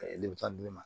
lemuruta di ne ma